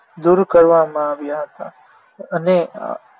દૂર કરવામાં આવ્યા હતા અને